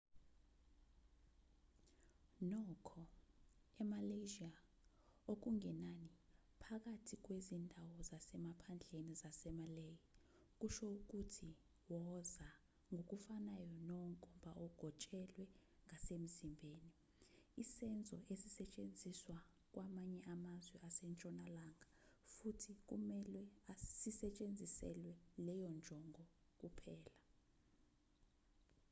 nokho emalaysia okungenani phakathi kwezindawo zasemaphandleni zasemalay kusho ukuthi woza ngokufanayo nonkomba ogotshelwe ngasemzimbeni isenzo esisetshenziswa kwamanye amazwe asentshonalanga futhi kumelwe sisetshenziselwe leyo njongo kuphela